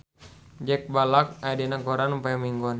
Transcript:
Jack Black aya dina koran poe Minggon